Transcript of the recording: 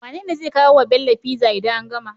Wane zai kawo wa Bello pizza idan an gama?